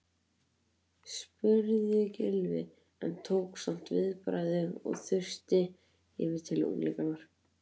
spurði Gylfi en tók samt viðbragð og þusti yfir til unglinganna.